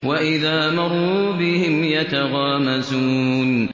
وَإِذَا مَرُّوا بِهِمْ يَتَغَامَزُونَ